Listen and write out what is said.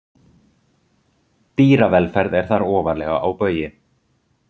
Dýravelferð er þar ofarlega á baugi.